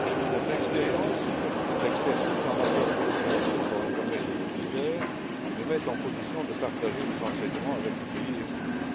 Notre expérience et notre expertise en matière de coopération dans les domaines les plus divers nous mettent en position de partager des enseignements avec les pays éprouvés.